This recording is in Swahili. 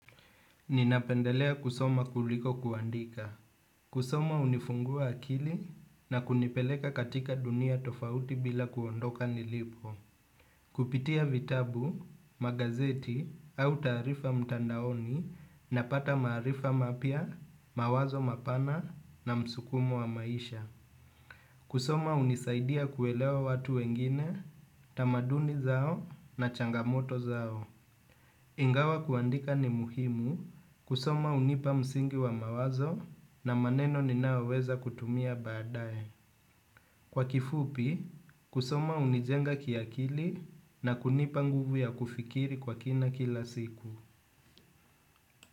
Ninapendelea kusoma kuliko kuandika. Kusoma unifungua akili na kunipeleka katika dunia tofauti bila kuondoka nilipo. Kupitia vitabu, magazeti au taarifa mtandaoni napata maarifa mapya, mawazo mapana na msukumo wa maisha. Kusoma hunisaidia kuelewa watu wengine, tamaduni zao na changamoto zao. Ingawa kuandika ni muhimu, kusoma hunipa msingi wa mawazo na maneno ninayoweza kutumia baadaye. Kwa kifupi, kusoma hunijenga kiakili na kunipa nguvu ya kufikiri kwa kina kila siku.